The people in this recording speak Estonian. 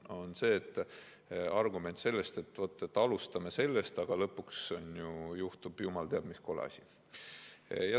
See on argument, et vaata, me alustame sellest, aga lõpuks juhtub jumal teab mis kole asi.